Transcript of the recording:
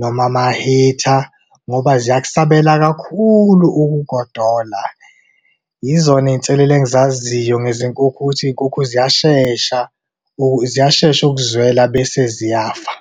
noma ama-heater, ngoba ziyakusabela kakhulu ukugodola. Yizona izinselele engizaziyo ngezinkukhu, ukuthi iy'nkukhu ziyashesha, ziyashesha ukuzwela bese ziyafa.